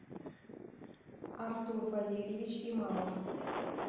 артур валерьевич имамов